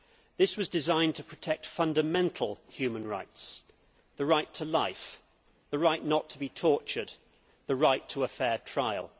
This was designed to protect fundamental human rights the right to life, the right not to be tortured and the right to a fair trial.